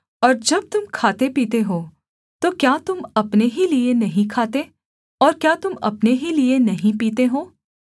और जब तुम खाते पीते हो तो क्या तुम अपने ही लिये नहीं खाते और क्या तुम अपने ही लिये नहीं पीते हो